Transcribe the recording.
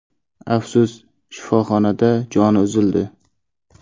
Afsus, shifoxonada joni uzildi.